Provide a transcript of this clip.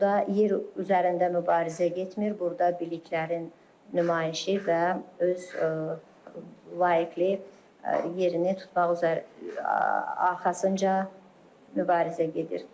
Burda yer üzərində mübarizə getmir, burda biliklərin nümayişi və öz layiq yerini tutmaq üzərə arxasınca mübarizə gedir.